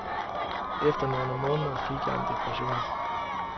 Efter nogle måneder fik jeg en depression.